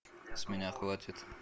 с меня хватит